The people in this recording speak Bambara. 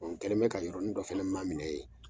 N kɛlen mɛ ka yɔrɔnin dɔ fɛnɛ maminɛ ye.